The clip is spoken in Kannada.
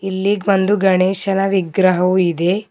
ಇಲ್ಲಿ ಬಂದು ಗಣೇಶನ ವಿಗ್ರಹವು ಇದೆ.